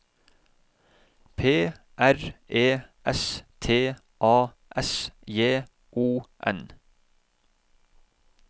P R E S T A S J O N